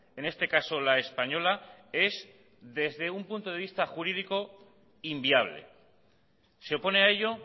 en este caso la española es desde un punto de vista jurídico inviable se opone a ello